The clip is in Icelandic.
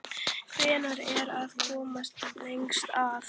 Hver er að komast lengst að?